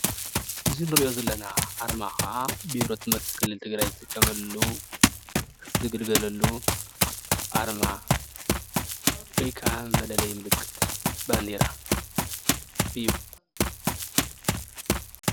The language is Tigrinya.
እዚ እንሪኦ ዘለና አርማ ከአ ቢሮ ትምህርቲ ክልል ትግራይ ዝጥቐመሉ፣ ዝግልገለሉ አርማ ወይ ካዓ መለለዪ ምልክት ባንዴራ እዩ፡፡